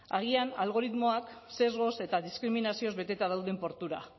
agian algoritmoak sesgoz eta diskriminazioz beteta dauden portura